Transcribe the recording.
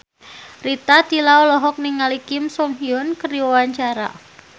Rita Tila olohok ningali Kim So Hyun keur diwawancara